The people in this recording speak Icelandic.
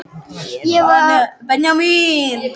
Ég er vanur að fást við hann!